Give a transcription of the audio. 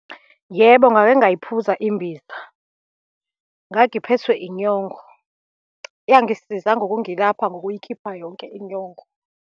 Yebo, ngake ngayiphuza imbiza, ngangiphethwe inyongo, yangisiza ngokungilapha ngokuyikhipha yonke inyongo.